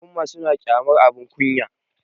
al'umma suna kyamar abin kunya